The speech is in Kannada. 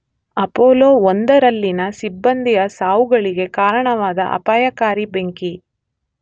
ಅಪೋಲೋ 1ರಲ್ಲಿನ ಸಿಬ್ಬಂದಿಯ ಸಾವುಗಳಿಗೆ ಕಾರಣವಾದ ಅಪಾಯಕಾರಿ ಬೆಂಕಿ.